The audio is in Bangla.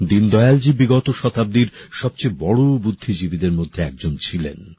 দীনদয়ালজী বিগত শতাব্দীর সবচেয়ে বড় বুদ্ধিজীবীদের মধ্যে একজন ছিলেন